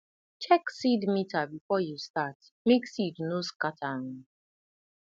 check seed meter before you start make seed no scatter um